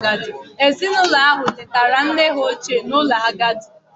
Ezinụlọ ahụ letara nne ha ochie n'ụlọ ndị agadi